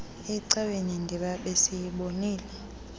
ecaweni ndiba besiyibonile